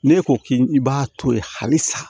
Ne ko k'i i b'a to ye halisa